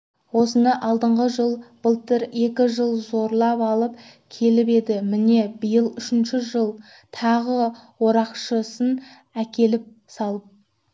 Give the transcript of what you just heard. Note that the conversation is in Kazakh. осыны алдыңғы жыл былтыр екі жыл зорлап алып келіп енді міне биыл үшінші жыл тағы орақшысын әкеліп салып